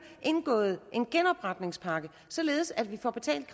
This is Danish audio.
indgået en genopretningspakke således at vi får betalt